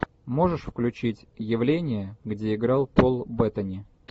можешь включить явление где играл пол беттани